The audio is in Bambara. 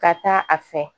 Ka taa a fɛ